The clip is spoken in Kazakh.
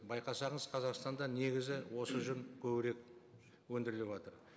байқасаңыз қазақстанда негізі осы жүн көбірек өндіріліватыр